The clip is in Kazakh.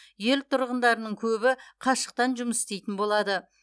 ел тұрғындарының көбі қашықтан жұмыс істейтін болады